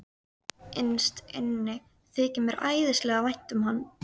Innst inni þykir mér æðislega vænt um hann.